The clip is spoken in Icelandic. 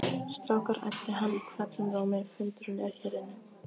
Strákar æpti hann hvellum rómi, fundurinn er hér inni